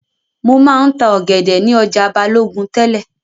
Mo máa ń ta ọ̀gẹ̀dẹ̀ ni ọjà Balogun tẹ́lẹ̀